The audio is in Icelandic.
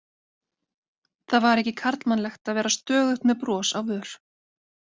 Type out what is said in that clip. Það var ekki karlmannlegt að vera stöðugt með bros á vör.